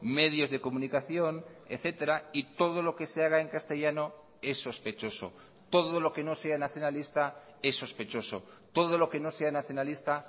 medios de comunicación etcétera y todo lo que se haga en castellano es sospechoso todo lo que no sea nacionalista es sospechoso todo lo que no sea nacionalista